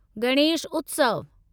गणेश उत्सव